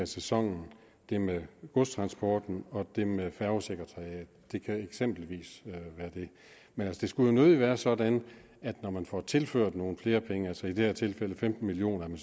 sæsonen det med godstransporten og det med færgesekretariatet det kan eksempelvis være det men det skulle jo nødig være sådan at man når man får tilført nogle flere penge altså i det her tilfælde femten million